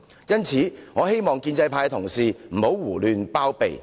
因此，我希望建制派同事不要胡亂包庇。